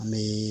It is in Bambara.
An bɛ